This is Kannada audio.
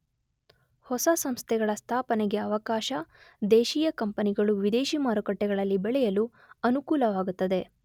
ಹೊಸ ಸಂಸ್ಥೆಗಳ ಸ್ಥಾಪನೆಗೆ ಅವಕಾಶ, ದೇಶೀಯ ಕಂಪನಿಗಳು ವಿದೇಶಿ ಮಾರುಕಟ್ಟೆಗಳಲ್ಲಿ ಬೆಳೆಯಲು ಅನುಕೂಲವಾಗುತ್ತದೆ.